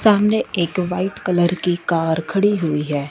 सामने एक white colour की कार खड़ी हुई है।